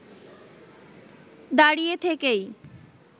দাঁড়িয়ে থেকেই